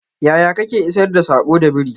yaya Kake isar da sako da biri?